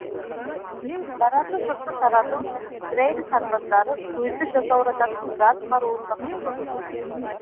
наразы жұртты тарату үшін израиль сарбаздары көзді жасаурататын газ қаруын да қолданған